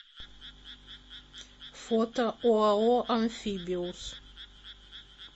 фото оао амфибиус